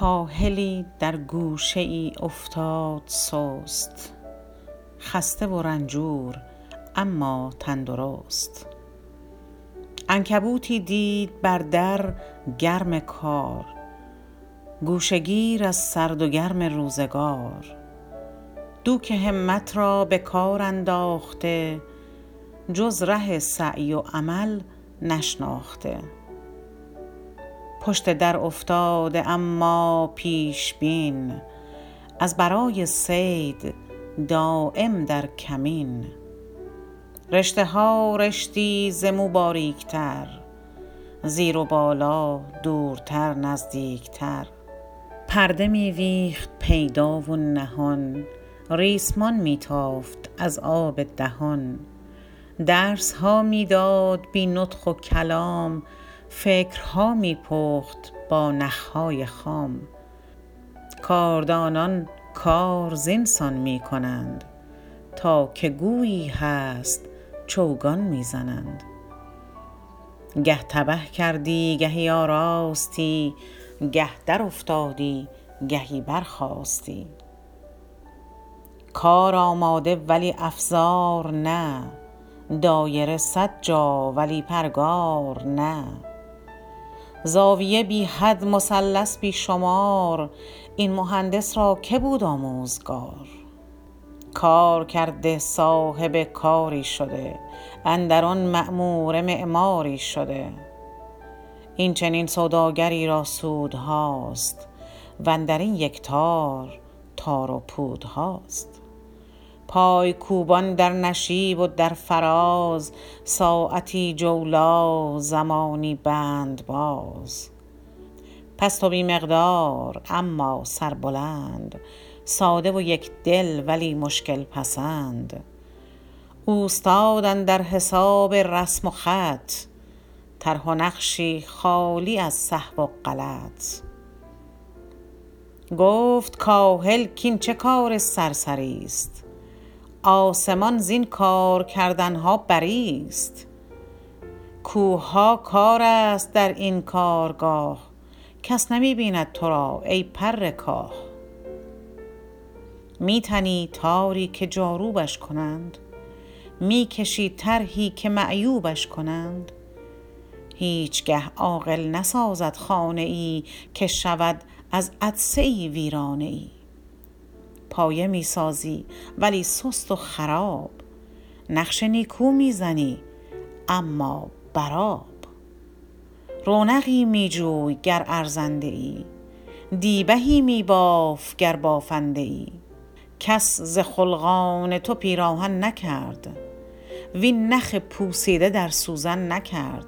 کاهلی در گوشه ای افتاد سست خسته و رنجور اما تندرست عنکبوتی دید بر در گرم کار گوشه گیر از سرد و گرم روزگار دوک همت را به کار انداخته جز ره سعی و عمل نشناخته پشت در افتاده اما پیش بین از برای صید دایم در کمین رشته ها رشتی ز مو باریکتر زیر و بالا دورتر نزدیکتر پرده می ویخت پیدا و نهان ریسمان می تافت از آب دهان درس ها می داد بی نطق و کلام فکرها می پخت با نخ های خام کاردانان کار زین سان می کنند تا که گویی هست چوگان می زنند گه تبه کردی گهی آراستی گه درافتادی گهی برخاستی کار آماده ولی افزار نه دایره صد جا ولی پرگار نه زاویه بی حد مثلث بی شمار این مهندس را که بود آموزگار کار کرده صاحب کاری شده اندر آن معموره معماری شده این چنین سوداگری را سودهاست وندرین یک تار تار و پودهاست پای کوبان در نشیب و در فراز ساعتی جولا زمانی بندباز پست و بی مقدار اما سربلند ساده و یک دل ولی مشکل پسند اوستاد اندر حساب رسم و خط طرح و نقشی خالی از سهو و غلط گفت کاهل کاین چه کار سرسری ست آسمان زین کار کردنها بری ست کوه ها کارست در این کارگاه کس نمی بیند ترا ای پر کاه می تنی تاری که جاروبش کنند می کشی طرحی که معیوبش کنند هیچ گه عاقل نسازد خانه ای که شود از عطسه ای ویرانه ای پایه می سازی ولی سست و خراب نقش نیکو می زنی اما بر آب رونقی می جوی گر ارزنده ای دیبه ای می باف گر بافنده ای کس ز خلقان تو پیراهن نکرد وین نخ پوسیده در سوزن نکرد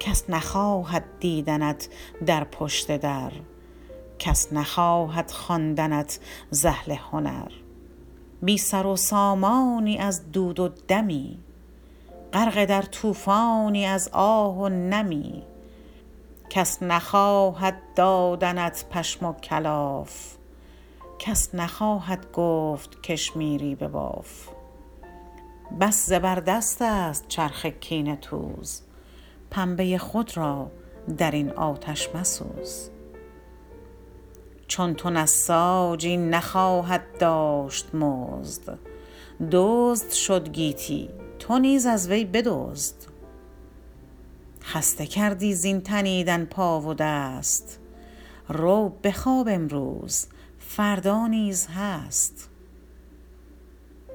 کس نخواهد دیدنت در پشت در کس نخواهد خواندنت ز اهل هنر بی سر و سامانی از دود و دمی غرق در طوفانی از آه و نمی کس نخواهد دادنت پشم و کلاف کس نخواهد گفت کشمیری بباف بس زبر دست ست چرخ کینه توز پنبه ی خود را در این آتش مسوز چون تو نساجی نخواهد داشت مزد دزد شد گیتی تو نیز از وی بدزد خسته کردی زین تنیدن پا و دست رو بخواب امروز فردا نیز هست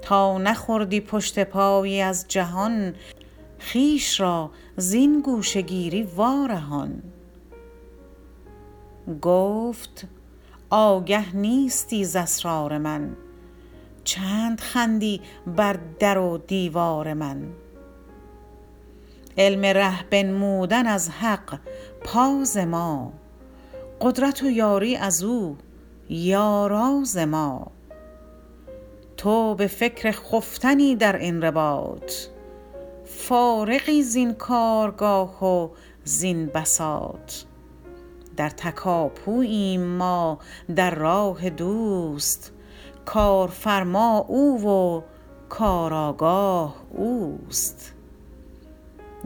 تا نخوردی پشت پایی از جهان خویش را زین گوشه گیری وارهان گفت آگه نیستی ز اسرار من چند خندی بر در و دیوار من علم ره بنمودن از حق پا ز ما قدرت و یاری از او یارا ز ما تو به فکر خفتنی در این رباط فارغی زین کارگاه و زین بساط در تکاپوییم ما در راه دوست کارفرما او و کارآگاه اوست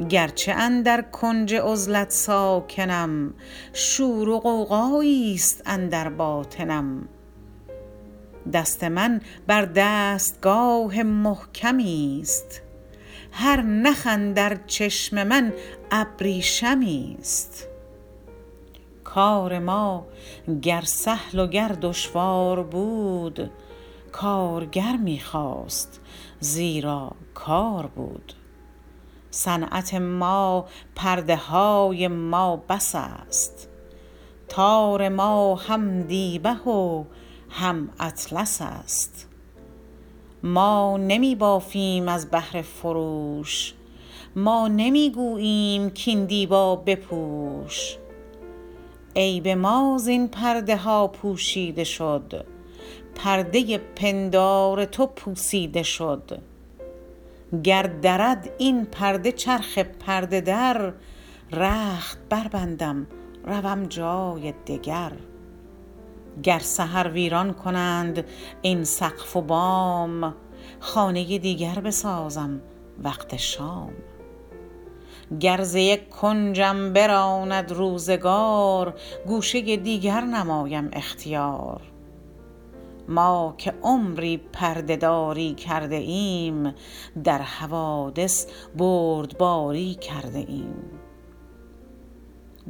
گرچه اندر کنج عزلت ساکنم شور و غوغایی ست اندر باطنم دست من بر دستگاه محکمی ست هر نخ اندر چشم من ابریشمی است کار ما گر سهل و گر دشوار بود کارگر می خواست زیرا کار بود صنعت ما پرده های ما بس است تار ما هم دیبه و هم اطلس است ما نمی بافیم از بهر فروش ما نمی گوییم کاین دیبا بپوش عیب ما زین پرده ها پوشیده شد پرده ی پندار تو پوسیده شد گر درد این پرده چرخ پرده در رخت بر بندم روم جای دگر گر سحر ویران کنند این سقف و بام خانه ی دیگر بسازم وقت شام گر ز یک کنجم براند روزگار گوشه ی دیگر نمایم اختیار ما که عمری پرده داری کرده ایم در حوادث بردباری کرده ایم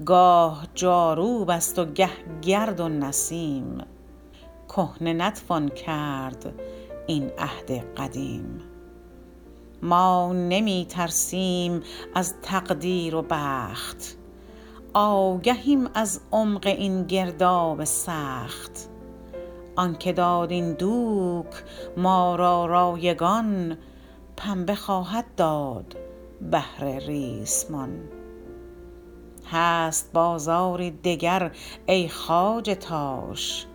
گاه جاروبست و گه گرد و نسیم کهنه نتوان کرد این عهد قدیم ما نمی ترسیم از تقدیر و بخت آگهیم از عمق این گرداب سخت آنکه داد این دوک ما را رایگان پنبه خواهد داد بهر ریسمان هست بازاری دگر ای خواجه تاش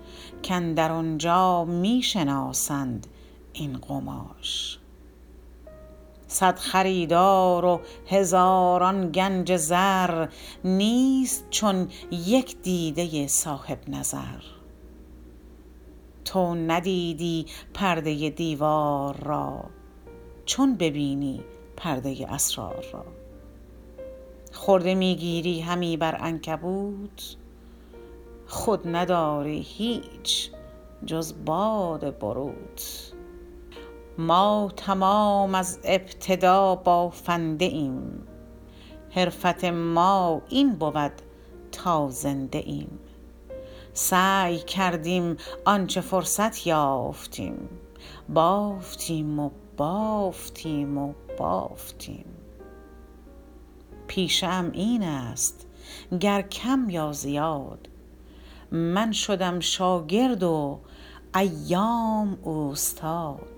کاندر آنجا می شناسند این قماش صد خریدار و هزاران گنج زر نیست چون یک دیده ی صاحب نظر تو ندیدی پرده ی دیوار را چون ببینی پرده ی اسرار را خرده می گیری همی بر عنکبوت خود نداری هیچ جز باد بروت ما تمام از ابتدا بافنده ایم حرفت ما این بود تا زنده ایم سعی کردیم آنچه فرصت یافتیم بافتیم و بافتیم و بافتیم پیشه ام این ست گر کم یا زیاد من شدم شاگرد و ایام اوستاد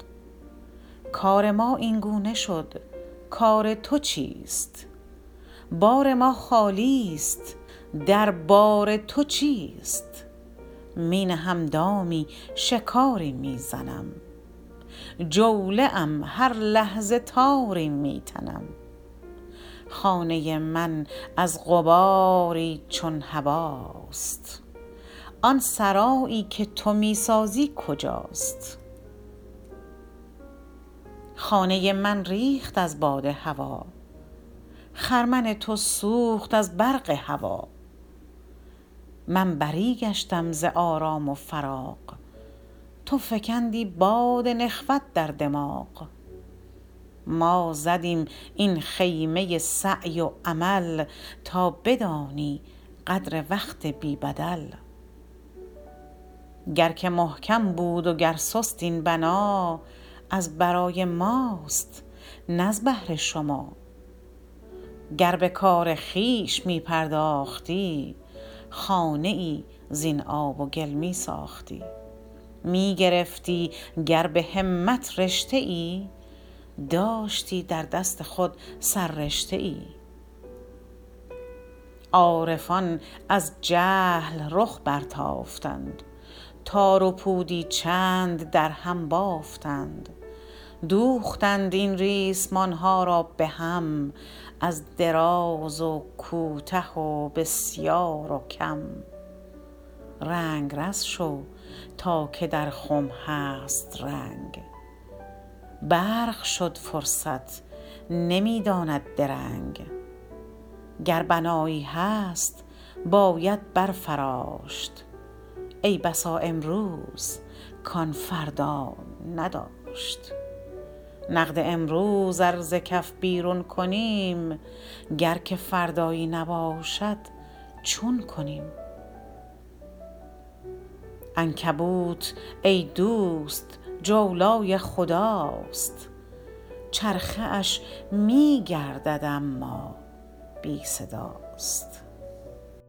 کار ما اینگونه شد کار تو چیست بار ما خالی است دربار تو چیست می نهم دامی شکاری می زنم جوله ام هر لحظه تاری می تنم خانه ی من از غباری چون هباست آن سرایی که تو می سازی کجاست خانه ی من ریخت از باد هوا خرمن تو سوخت از برق هوی من بری گشتم ز آرام و فراغ تو فکندی باد نخوت در دماغ ما زدیم این خیمه ی سعی و عمل تا بدانی قدر وقت بی بدل گر که محکم بود و گر سست این بنا از برای ماست نز بهر شما گر به کار خویش می پرداختی خانه ای زین آب و گل می ساختی می گرفتی گر به همت رشته ای داشتی در دست خود سر رشته ای عارفان از جهل رخ برتافتند تار و پودی چند در هم بافتند دوختند این ریسمان ها را به هم از دراز و کوته و بسیار و کم رنگرز شو تا که در خم هست رنگ برق شد فرصت نمی داند درنگ گر بنایی هست باید برفراشت ای بسا امروز کان فردا نداشت نقد امروز ار ز کف بیرون کنیم گر که فردایی نباشد چون کنیم عنکبوت ای دوست جولای خداست چرخه اش می گردد اما بی صداست